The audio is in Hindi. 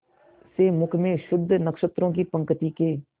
से मुख में शुद्ध नक्षत्रों की पंक्ति के